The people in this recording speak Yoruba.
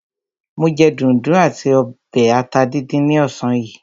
Mo jẹ dùndún àti ọbẹ̀ ata díndín ní ọ̀sán yìí.